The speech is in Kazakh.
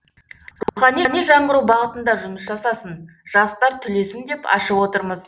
рухани жаңғыру бағытында жұмыс жасасын жастар түлесін деп ашып отырмыз